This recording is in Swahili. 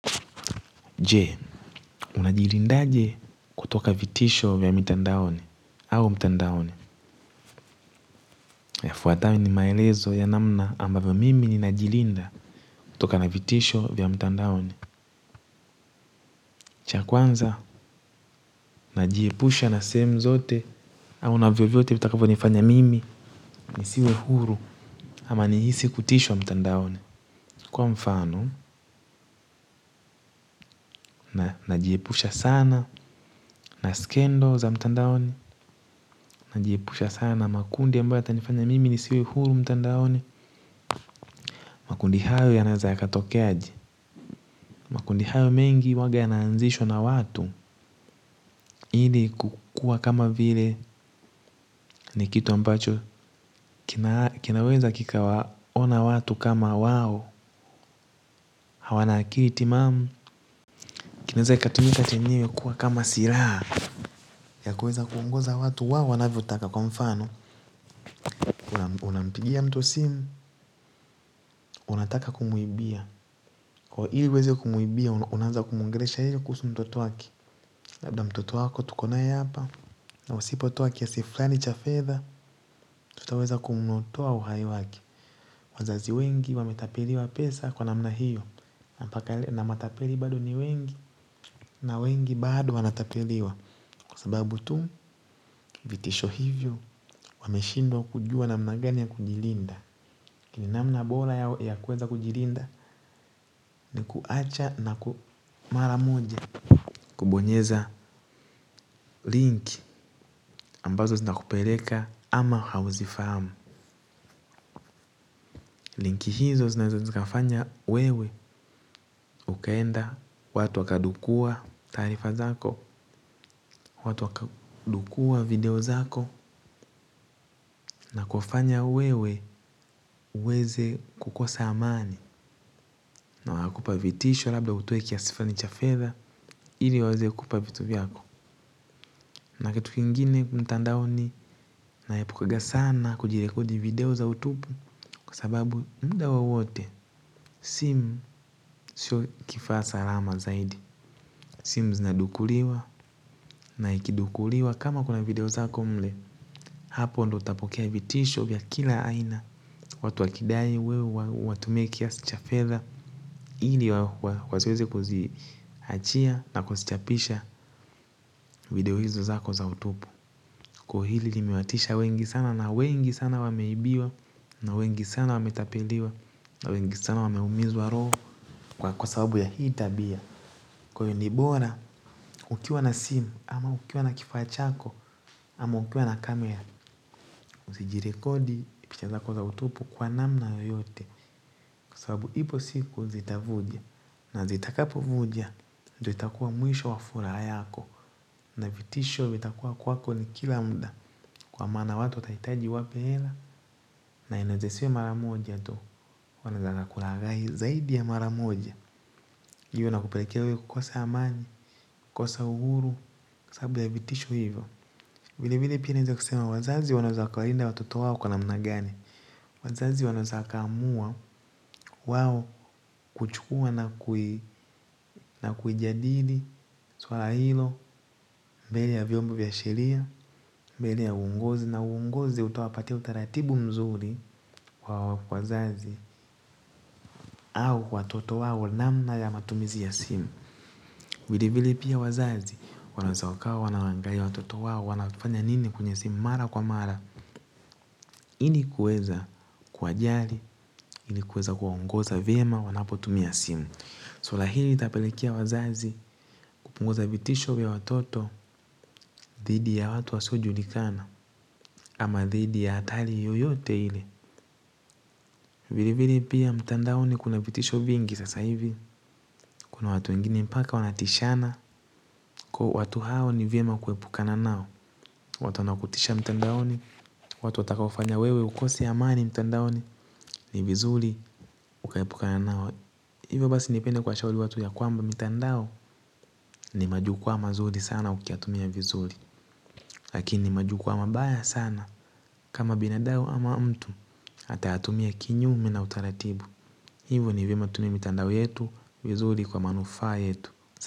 Je, unajilindaje kutoka vitisho vya mitandaoni au mtandaoni. Yafuatayoni maelezo ya namna ambavyo mimi ninajilinda. Kutokana vitisho vya mtandaoni. Cha kwanza, najiepusha na sehemu zote au na vyovyote vitakavyo nifanya mimi nisiwe huru ama nihisi kutishwa mtandaoni. Kwa mfano, najiepusha sana na scandal za mtandaoni najiepusha sana na makundi ambayo yatanifanya mimi nisiwe huru mtandaoni. Makundi hayo yanaweza yakatokea aje. Makundi hayo mengi huanga yanaanzishwa na watu. Ili kukuwa kama vile ni kitu ambacho kinaweza kikawaona watu kama wao. Hawana akili timamu, kinaweza kikatumika chenyewe kuwa kama silaha ya kuweza kuongoza watu wao. Wanavyoaka kwa mfano unampigia mtu simu. Unataka kumuibia ili uweze kumuibia unaanza kumuongelesha yeye kuhusu mtoto wake. Labda, "mtoto wako tuko nae hapa. Na usipotoa kiasi fulani cha fedha tutaweza kumtoa uhai wake." Wazazi wengi wametapeliwa pesa kwa namna hiyo. Na matapeli bado ni wengi. Na wengi bado wanatapeliwa kwa sababu tu vitisho hivyo wameshindwa kujua namna gani ya kujilinda lakini namna bora yao kuweza kujilinda ni kuacha na ku mara moja kubonyeza link ambazo zinakupeleka ama hauzifahamu. Linki hizo zinawezo zikafanya wewe ukaenda watu wakadukua taarifa zako, watu wakadukua video zako na kufanya wewe uweze kukosa amani na wakakupa vitisho labda utoe kiasi fulani cha fedha ili waweze kukupa vitu vyako. Na kitu kingine mtandaoni nayaepukanga sana kujirekodi video za utupu. Kwa sababu muda wowote simu sio kifaa saalama zaidi. Simu zinadukuliwa na ikidukuliwa kama kuna video zako mle. Hapo ndo utapokea vitisho vya kila aina. Watu wakidai wewe uwatumie kiasi cha fedha ili wasiweze kuziachia na kuzichapisha video hizo zako za utupu kwa hili limewatisha wengi sana na wengi sana wameibiwa na wengi sana wametapeliwa na wengi sana wameumizwa roho kwa sababu ya hii tabia. Kwa hivyo ni bora ukiwa na simu ama ukiwa na kifaa chako ama ukiwa na kamera usijirekodi picha zako za utupu kwa namna yeyote kwa sababu ipo siku zitavuja na zitakapovuja itakuwa mwisho wa furaha yako na vitisho vitakuwa kwako kila muda kwa maana watu watahitaji uwape hela. Na inaweza isiwe mara moja tu wanataka kulaghai zaidi ya mara moja hiyo inakupeleka kukosa amani, kukosa uhuru, sababu ya vitisho hivyo. Vile vile pia naeza kusema wazazi wanaweza wakawalinda watoto wao kwa namna gani. Wazazi wanaweza wakaamua wao kuchukuwa na na kuijadili. Suala hilo, mbele ya viombo vya sheria, mbele ya uongozi na uongozi utawapatia utaratibu nzuri kwa wazazi au watoto wao namna ya matumizi ya simu. Vili vile pia wazazi wanaweza wakawa wanawalaghai watoto wao wanafanya nini kwenye simu mara kwa mara. Ilikuweza kuwajali, ilikuweza kuwaongoza vyema wanapotumia simu. Suala hili itapelekea wazazi kupunguza vitisho vya watoto dhidi ya watu wasiojulikana ama dhidi ya hatari yoyote ile. Vile vile pia mtandaoni kuna vitisho vingi sasa hivi kuna watu wengine mpaka wanatishana, watu wao ni vyema kuepukana wao. Watu wanaokutisha mtandaoni. Watu watakaofanya wewe ukose amani mtandaoni ni vizuri kuepukana na hao watu. Hivyo basi ningependa kuwashauri watu ya kwamba mitandao ni majukwaa mazuri ukiyatumia vizuri. Lakini majukwaa mabaya sana kama binadamu ama mtu hata atumie kinyume na utaratibu. Hivo ni vyema tutumie mtandao yetu vizuri kwa manufaa yetu.